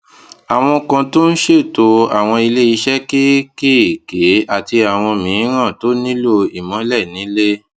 àwọn kan tó ń ṣètò àwọn ilé iṣé kéékèèké àti àwọn mìíràn tó nílò ìmólè nílé